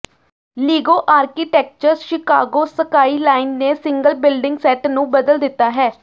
Lego architecture Chicago skyline ਨੇ single building set ਨੂੰ ਬਦਲ ਦਿੱਤਾ ਹੈ